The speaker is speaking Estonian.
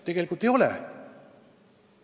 Tegelikult ei ole!